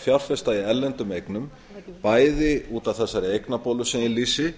fjárfesta í erlendum eignum bæði út af þessari eignabólu sem ég lýsi